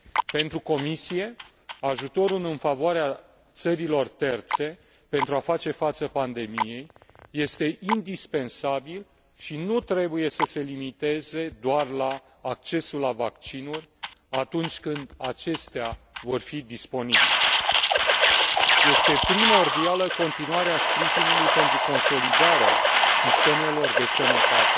Pentru Comisie, ajutorul în favoarea țărilor terțe pentru a face față pandemiei este indispensabil și nu trebuie să se limiteze doar la accesul la vaccinuri, atunci când acestea vor fi disponibile. Este primordială continuarea sprijinului pentru consolidarea sistemelor de sănătate,